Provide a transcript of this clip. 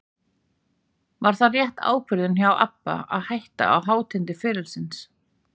Var það rétt ákvörðun hjá ABBA að hætta á hátindi ferilsins?